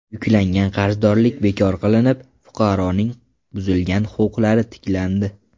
Yuklangan qarzdorlik bekor qilinib, fuqaroning buzilgan huquqlari tiklandi.